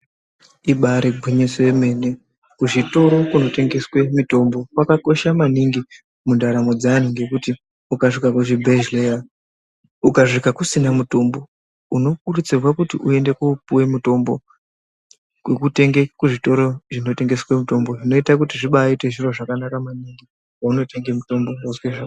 Ibaari gwinyiso remene kuzvitoro kunotengeswa mitombo kwakakosha maningi mundaramo dzeantu. Ngekuti ukasvika kuzvibhendleya, ukasvika kusina mutombo unokurudzirwa kuti uende koopuwa mutombo kwekutenge kuzvitoro zvinotengese mutombo. Zvinoita kuti zvibaaite zviro zvakanaka maningi kweunotenga mutombo.